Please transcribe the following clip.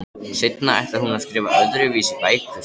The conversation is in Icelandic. Seinna ætlar hún að skrifa öðruvísi bækur.